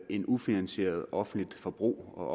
et ufinansieret offentligt forbrug og